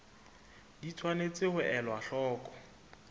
di tshwanetse ho elwa hloko